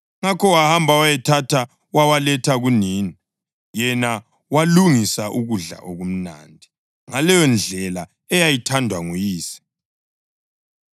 Ngakho wahamba wayawathatha wawaletha kunina, yena walungisa ukudla okumnandi, ngaleyondlela eyayithandwa nguyise.